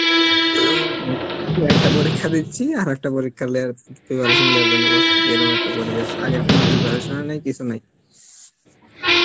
একটা পরীক্ষা দিচ্ছি আর একটা পরীক্ষা আরেক টা পরীক্ষার preparation লেয়ার জন্যে দিয়ে এরম একটা পরিবেশ আগের কোন preparation ও নেই কিছু নেই